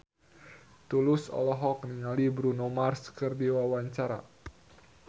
Tulus olohok ningali Bruno Mars keur diwawancara